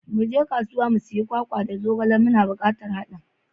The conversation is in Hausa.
Muje kasuwa mu sayi kwakwa da zogale, muna bukatar hadin.